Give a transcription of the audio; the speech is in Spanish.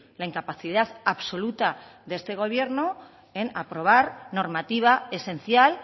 la incapacidad absoluta de este gobierno en aprobar normativa esencial